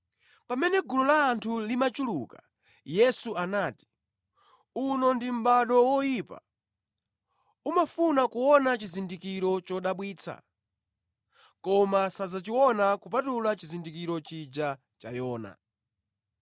Pamene gulu la anthu limachuluka, Yesu anati, “Uno ndi mʼbado oyipa. Umafuna kuona chizindikiro chodabwitsa. Koma sadzachiona kupatula chizindikiro chija cha Yona.